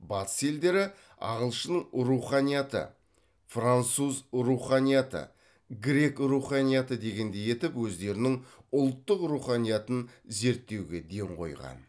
батыс елдері ағылшын руханияты француз руханияты грек руханияты дегендей етіп өздерінің ұлттық руханиятын зерттеуге ден қойған